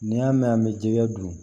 N'i y'a mɛn an bɛ jɛgɛ don